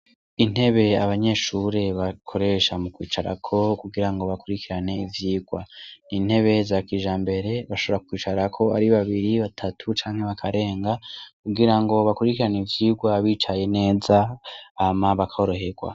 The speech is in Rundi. Inteb' abanyeshure bakoresha mu kwicarako kugira bakurikiran' ivyigwa, n' intebe za kijambere bashobora kwicarak' ari babiri , batatu canke bakarenga, kugirango bakurikiran' ivyigwa bicaye neza hama bakorohegwa.